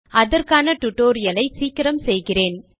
அதற்கான டியூட்டோரியல் ஐ சீக்கிரம் செய்கிறேன்